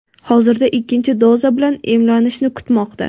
Hozirda ikkinchi doza bilan emlanishni kutmoqda.